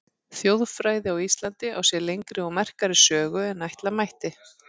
Þjóðfræði á Íslandi á sér lengri og merkari sögu en ætla mætti.